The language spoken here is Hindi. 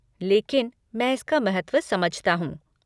लेकिन मैं इसका महत्व समझता हूँ।